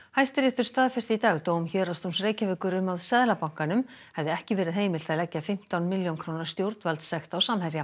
Hæstiréttur staðfesti í dag dóm Héraðsdóms Reykjavíkur um að Seðlabankanum hefði ekki verið heimilt að leggja fimmtán milljón króna stjórnvaldssekt á Samherja